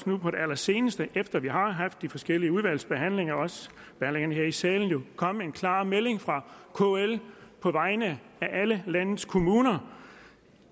nu på det allerseneste efter vi har haft de forskellige udvalgsbehandlinger og også behandling her i salen kommet en klar melding fra kl på vegne af alle landets kommuner